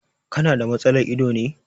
Ka na da matsalar ido ne.